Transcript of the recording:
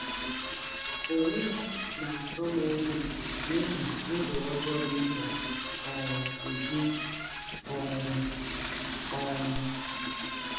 Ọnwe m na - asọ m ọyi n’ihi ndụ ọjọọ m na um - ebi um. um